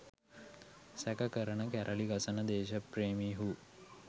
සැක කරන කැරලිි ගසන දේශපේ්‍රමිහූ